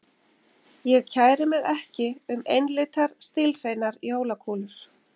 Ég kæri mig ekki um einlitar stílhreinar jólakúlur.